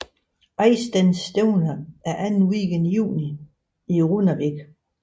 Eystanstevna er anden weekend i juni i Runavík